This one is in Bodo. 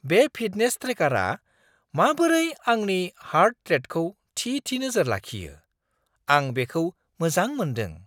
बे फिटनेस ट्रेकारआ माबोरै आंनि हार्ट रेटखौ थि-थि नोजोर लाखियो, आं बेखौ मोजां मोनदों।